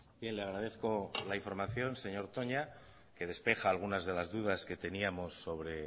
bien le agradezco la información señor toña que despeja algunas de las dudas que teníamos sobre